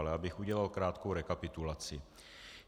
Ale abych udělal krátkou rekapitulaci.